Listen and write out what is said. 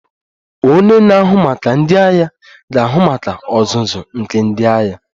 Onye na-ahụ maka ndị agha ga-ahụ maka ọzụzụ nke ndị agha